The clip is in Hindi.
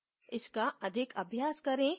इसका अधिक अभ्यास करें